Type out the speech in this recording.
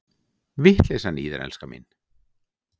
Vitleysan í þér, elskan mín!